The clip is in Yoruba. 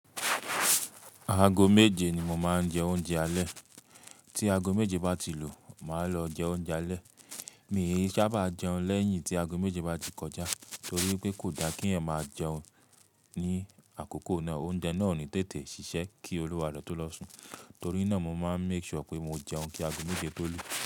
Ago méje ni mo máa ń jẹ oúnjẹ alẹ́. Tí ago méje bá ti lu, màá lọ jẹ oúnjẹ alẹ́. Mi ò sábà jẹun lẹ́yìn tí ago méje bá ti kọjá torí pé kò da kí ẹ̀ máa jẹun ní àkókò náà. Oúnjẹ náà ò ní tètè ṣiṣẹ́ kí olùwà rẹ o tó lọ sùn. Torí náà mo máa ń make sure pé mo jẹun kí ago méje tó lù.